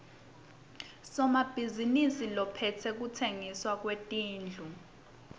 somabhizinisi lophetse kutsengiswa kwetindlu